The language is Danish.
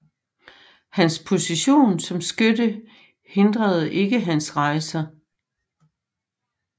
Hans position som skytte hindrede ikke hans rejser